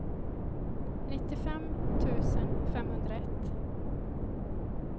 nittiofem tusen femhundraett